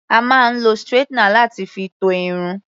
A máa ń lo straightener láti fi to Irun.